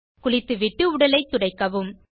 குளித்துவிட்டு உடலை துடைக்கவும்